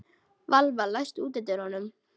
Valva, læstu útidyrunum.